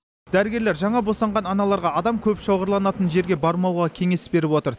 дәрігерлер жаңа босанған аналарға адам көп шоғырланатын жерге бармауға кеңес беріп отыр